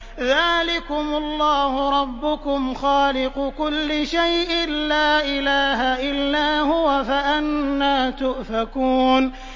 ذَٰلِكُمُ اللَّهُ رَبُّكُمْ خَالِقُ كُلِّ شَيْءٍ لَّا إِلَٰهَ إِلَّا هُوَ ۖ فَأَنَّىٰ تُؤْفَكُونَ